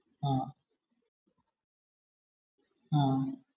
അഹമ്